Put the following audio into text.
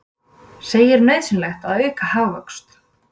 Segir nauðsynlegt að auka hagvöxt